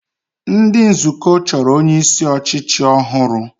Ndị nzukọ chọrọ onyeisi ọchịchị ọhụrụ